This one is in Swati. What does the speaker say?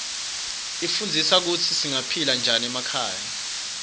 ifundzisa kutsi singaphila njani emakhaya